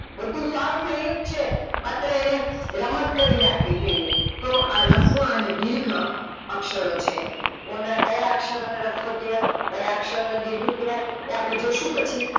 બધું સાવ સેલુજ છે માત્ર એને રમત કરી નાખવી જોઈંએ, તો આ રસવા અને દિર્ઘ અક્ષર છે કોનો કયો અક્ષરો ને રસ્વ કેવાય કોને દિર્ઘ કેવાય એ અપડે જોસુ પછી